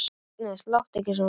Agnes, láttu ekki svona!